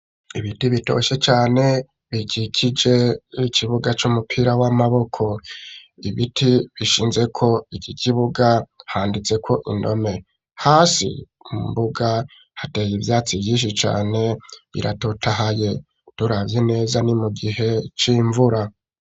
Ibiti bitoshe cane bikikije ikibuga c'umupira w'amaboko, ibiti bishinzeko iki kibuga handitseko indome hasi mbuga hateye ivyatsi vyinshi cane biratotahaye, turavye neza ni mu gihe c'imvura.